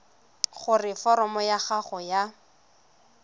gore foromo ya gago ya